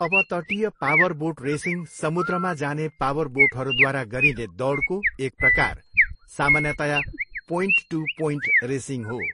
अपतटीय powerboat racing समुद्रमा जाने पावरबोटहरूद्वारा गरिने दौडको एक प्रकार, सामान्यतया पोइन्ट टु पोइन्ट रेसिङ हो।